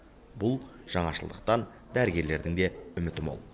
бұл жаңашылдықтан дәрігерлердің де үміті мол